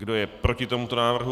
Kdo je proti tomuto návrhu?